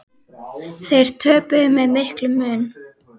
Þeir töpuðu með miklum mun.